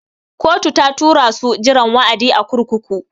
Kotu ta tura su jiran wa'adi a kurkuku.